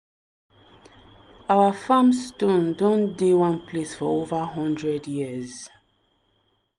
our farm stone don dey one place for over hundred years.